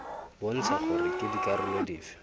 bontsha gore ke dikarolo dife